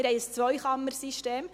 Wir haben ein Zweikammersystem.